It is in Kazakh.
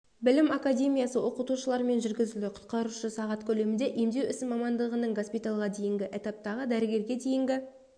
білім академиясы оқытушыларымен жүргізілді құтқарушы сағат көлемінде емдеу ісі мамандығының госпитальға дейінгі этаптағы дәрігерге дейінгі